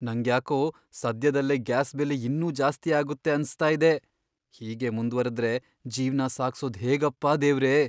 ನಂಗ್ಯಾಕೋ ಸದ್ಯದಲ್ಲೇ ಗ್ಯಾಸ್ ಬೆಲೆ ಇನ್ನೂ ಜಾಸ್ತಿ ಆಗುತ್ತೆ ಅನ್ಸ್ತಾ ಇದೆ. ಹೀಗೇ ಮುಂದ್ವರೆದ್ರೆ ಜೀವ್ನ ಸಾಗ್ಸೋದ್ ಹೇಗಪ್ಪ ದೇವ್ರೇ!